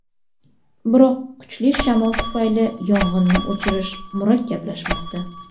Biroq kuchli shamol tufayli yong‘inni o‘chirish murakkablashmoqda.